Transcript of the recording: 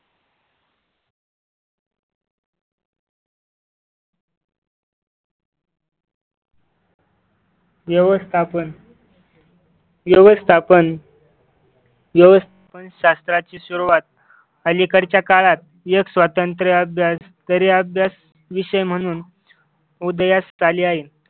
व्यवस्थापन व्यवस्थापन व्यवस्थापन शास्त्राची सुरुवात अलीकडच्या काळात एक स्वतंत्र अभ्यास तरी अभ्यास विषय म्हणून उदयास आली आहे.